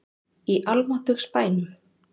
Í almáttugs bænum!